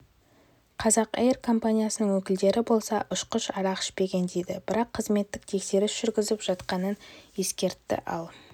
қазақэйр компаниясының өкілдері болса ұшқыш арақ ішпеген дейді бірақ қызметтік тексеріс жүргізіп жатқанын ескертті ал